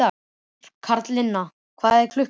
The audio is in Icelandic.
Karlinna, hvað er klukkan?